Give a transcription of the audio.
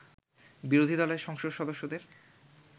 বিরোধীদলের সংসদ সদস্যদের